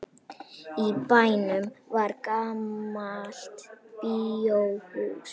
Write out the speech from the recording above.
Í bænum var gamalt bíóhús.